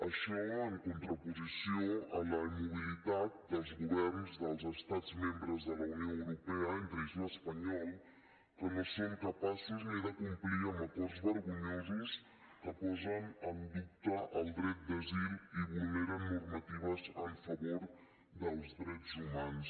això en contraposició a la immobilitat dels governs dels estats membres de la unió europea entre ells l’espanyol que no són capaços ni de complir amb acords vergonyosos que posen en dubte el dret d’asil i vulneren normatives a favor dels drets humans